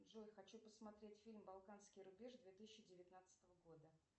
джой хочу посмотреть фильм балканский рубеж две тысячи девятнадцатого года